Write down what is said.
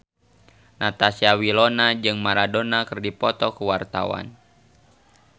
Natasha Wilona jeung Maradona keur dipoto ku wartawan